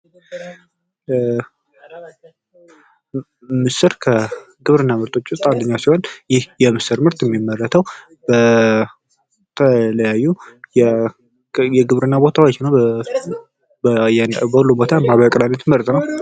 ምስር ከግብርና ምርቶች ውስጥ አንደኛው ሲሆን ይህ የምስር ምርት እሚመረተው በተለያዩ የግብርና ቦታዎች ነው። በሁሉም ቦታ ማህበራዊ አቅርቦቱ ምርጥ ነው።